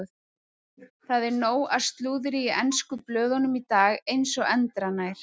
Það er nóg af slúðri í ensku blöðunum í dag eins og endranær.